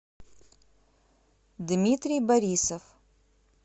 дмитрий борисов